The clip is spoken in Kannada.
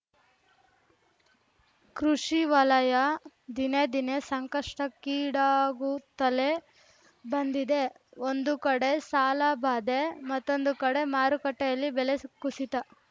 ಕೃಷಿವಲಯ ದಿನೇ ದಿನೇ ಸಂಕಷ್ಟಕ್ಕೀಡಾಗುತ್ತಲೇ ಬಂದಿದೆ ಒಂದು ಕಡೆ ಸಾಲ ಬಾಧೆ ಮತ್ತೊಂದು ಕಡೆ ಮಾರುಕಟ್ಟೆಯಲ್ಲಿ ಬೆಲೆ ಕುಸಿತ